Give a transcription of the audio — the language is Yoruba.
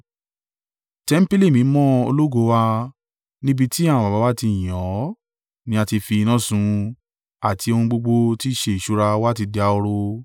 Tẹmpili mímọ́ ológo wa, níbi tí àwọn baba wa ti yìn ọ́, ni a ti fi iná sun, àti ohun gbogbo tí í ṣe ìṣúra wa ti dahoro.